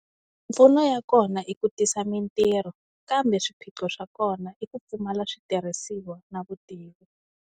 Mipfuno ya kona i ku tisa mintirho kambe swiphiqo swa kona i ku pfumala switirhisiwa na vutivi.